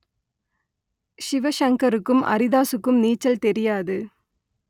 சிவசங்கருக்கும் அரிதாசுக்கும் நீச்சல் தெரியாது